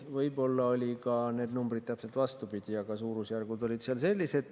Võib-olla olid need numbrid vastupidi, aga suurusjärgud olid sellised.